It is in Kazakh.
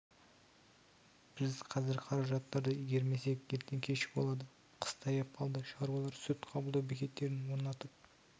біз қазір қаражатты игермесек ертең кеш болады қыс таяп қалды шаруалар сүт қабылдау бекеттерін орнатып